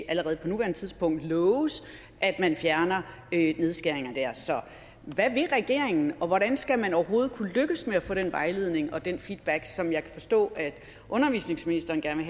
allerede på nuværende tidspunkt kan loves at man fjerner nedskæringer der så hvad vil regeringen og hvordan skal man overhovedet kunne lykkes med at få den vejledning og den feedback som jeg kan forstå at undervisningsministeren gerne